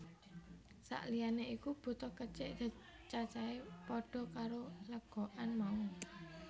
Sak liyané iku butuh kecik cacahé padha karo legokan mau